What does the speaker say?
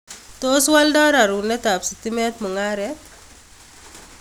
Tos woldo raruunetaab sitimet mungaret?